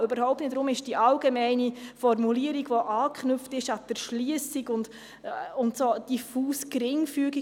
Deshalb ist die allgemeine Formulierung, die an die Erschliessung anknüpft, etwas unklar.